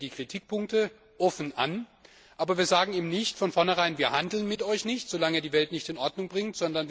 Wir sprechen die Kritikpunkte offen an, aber wir sagen eben nicht von vornherein Wir handeln mit euch nicht, so lange Ihr die Welt nicht in Ordnung bringt.